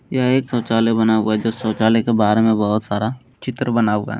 यह एक शौचालय बना हुआ है जो शौचालय के बाहर में बहुत सारा चित्र बना हुआ है।